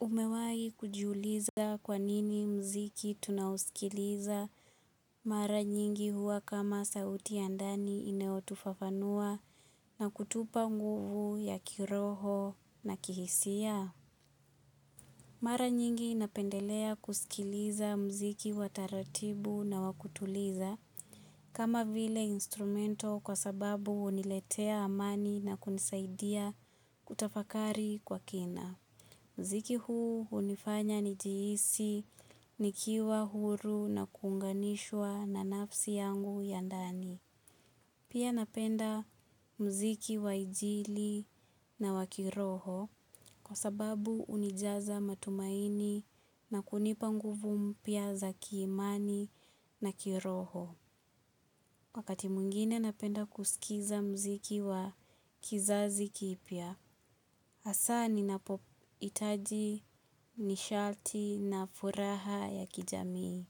Umewahi kujiuliza kwanini mziki tunao sikiliza mara nyingi huwa kama sauti ya ndani inayo tufafanua na kutupa nguvu ya kiroho na kihisia. Mara nyingi napendelea kusikiliza mziki wataratibu na wakutuliza kama vile instrumento kwa sababu uniletea amani na kunisaidia kutafakari kwa kina. Mziki huu unifanya nijihisi nikiwa huru na kunganishwa na nafsi yangu ya ndani. Pia napenda mziki wainjili na wakiroho kwa sababu unijaza matumaini na kunipa nguvu mpya za kiimani na kiroho. Wakati mwingine napenda kusikiza mziki wa kizazi kipya, asa ninapo itaji nishati na furaha ya kijamii.